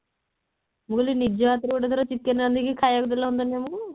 ମୁଁ କହିଲି ନିଜ ହାତ ରେ ଗୋଟେ ଥର chicken ରାନ୍ଧିକି ଖାଇବାକୁ ଦେଲେ ହୁଆନ୍ତାନି ଆମକୁ